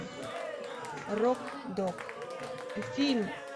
рок дог фильм